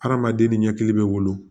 Hadamaden ni ɲɛkili bɛ wolo